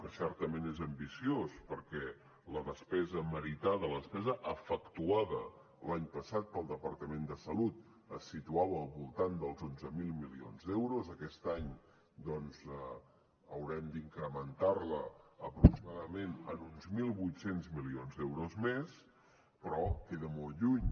que certament és ambiciós perquè la despesa meritada la despesa efectuada l’any passat pel departament de salut es situava al voltant dels onze mil milions d’euros aquest any doncs haurem d’incrementar la aproximadament en uns mil vuit cents milions d’euros més però queda molt lluny